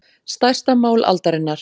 Stærsta mál aldarinnar